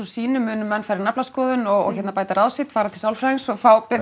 sínu munu menn fara í naflaskoðun og bæta ráð sitt fara til sálfræðings og